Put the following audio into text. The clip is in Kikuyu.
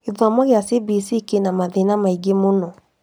Gĩthomo kĩa CBC kĩna mathĩna maingĩ mũno